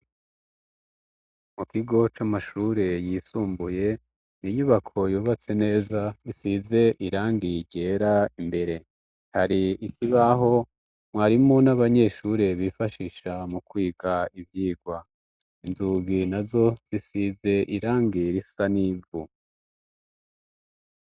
Mu kigo c'amashure yisumbuye n'inyubako yubatse neza isize irangi ryera imbere hari ikibaho mwarimo n'abanyeshuri bifashisha mu kwiga ivyirwa inzugi na zo zisize irangi risa n'ivu.